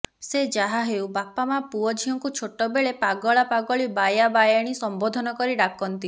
ସେ ଯାହା ହେଉ ବାପାମାଆ ପୁଅଝିଅଙ୍କୁ ଛୋଟବେଳେ ପାଗଳା ପାଗଳୀ ବାୟାବାୟାଣୀ ସମ୍ୱୋଧନ କରି ଡାକନ୍ତି